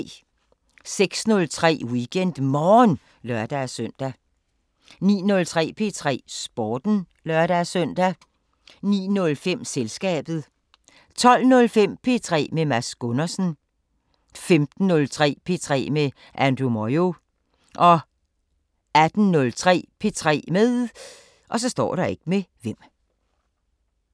06:03: WeekendMorgen (lør-søn) 09:03: P3 Sporten (lør-søn) 09:05: Selskabet 12:05: P3 med Mads Gundersen 15:03: P3 med Andrew Moyo 18:03: P3 med